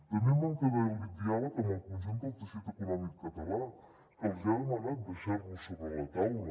també manca de diàleg amb el conjunt del teixit econòmic català que els ha demanat deixar lo sobre la taula